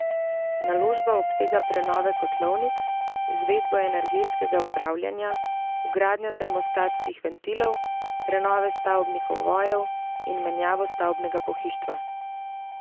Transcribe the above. Naložba obsega prenove kotlovnic, izvedbo energetskega upravljanja, vgradnjo termostatskih ventilov, prenove stavbnih ovojev in menjavo stavbnega pohištva.